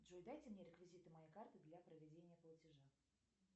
джой дайте мне реквизиты моей карты для проведения платежа